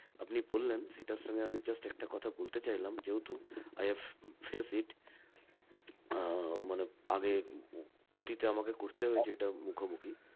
আপনি বললেন সেটার সঙ্গে আমি just একটা কথা বলতে চাইলাম যেহেতু I have face it ah মানে আগে অতীতে আমাকে করতে হয়েছে এটা মুখোমুখি